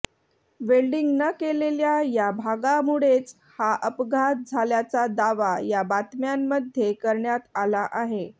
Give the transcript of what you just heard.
welding न केलेल्या या भागामुळेच हा अपघात झाल्याचा दावा या बातम्यांमध्ये करण्यात आला आहे